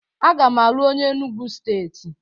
Aga m alụ onye Enugwu Steeti